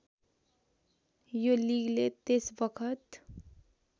यो लिगले त्यसबखत